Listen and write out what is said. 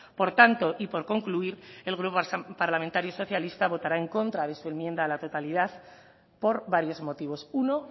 por tanto y por concluir el grupo parlamentario socialista votará en contra de su enmienda a la totalidad por varios motivos uno